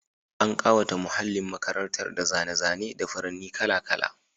An kawata muhallin makarantar da zane-zane da furanni kala-kala.